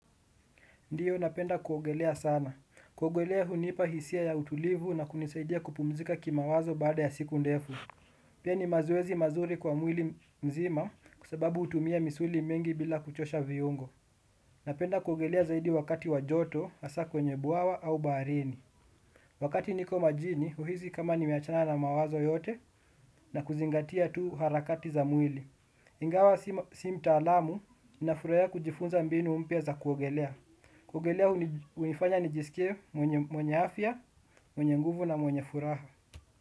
Ndio napenda kuogelea sana. Kuogelea hunipa hisia ya utulivu na kunisaidia kupumzika kimawazo baada ya siku ndefu. Pia ni mazoezi mazuri kwa mwili mzima kwa sababu hutumia misuli mengi bila kuchosha viungo. Napenda kuogelea zaidi wakati wa joto, hasa kwenye bwawa au baharini. Wakati niko majini, uhisi kama nimeachana na mawazo yote na kuzingatia tu harakati za mwili. Ingawa si mtaalamu, ninafurahia kujifunza mbinu mpya za kuogelea. Kuogelea hunifanya nijisikie mwenye afya, mwenye nguvu na mwenye furaha.